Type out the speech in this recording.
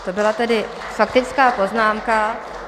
To byla tedy faktická poznámka.